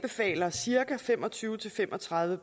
sager er cirka fem og tyve til fem og tredive